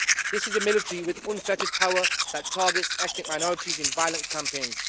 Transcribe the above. This is a military with unfettered power that targets ethnic minorities in violent campaigns.